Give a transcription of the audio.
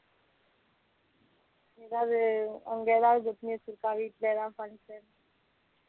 ஏதாவது அவங்க ஏதாவது வச்சிருக்காங்களா வீட்டுல ஏதாவது function